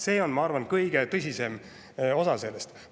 See on, ma arvan, kõige tõsisem osa sellest.